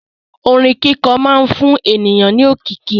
Orin kíkọ máa ń fún ènìyàn ní òkìkí.